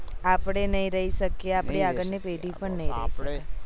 આપણે નહી રઈ સકતા એ આપણી આગળ ની પેઢી પણ નઈ રઈ સકે